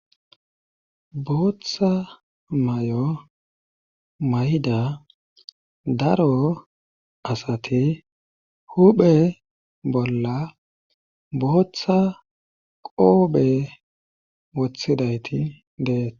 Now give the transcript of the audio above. Booththa may7o may7da daro asati huphe bolla booththa qoophe wothidayti deese.